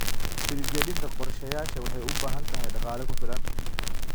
Hirgelinta qorshayaasha waxay u baahan tahay dhaqaale ku filan.